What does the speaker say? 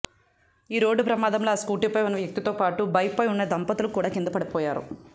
ఈ రోడ్డుప్రమాదంలో ఆ స్కూటిపై ఉన్న వ్యక్తితోపాటు బైక్పై ఉన్న దంపతులు కూడా కిందపడిపోయారు